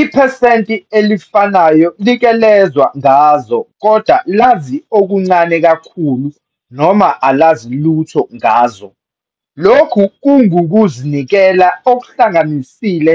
Iphesenti elifanayo like lezwa ngazo kodwa lazi okuncane kakhulu noma alazi lutho ngazo. Lokhu kungukuzinikela okuhlanganisile